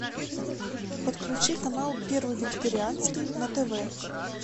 подключи канал первый вегетарианский на тв